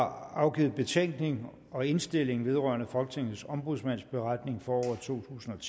har afgivet betænkning og indstilling vedrørende folketingets ombudsmands beretning for året totusinde og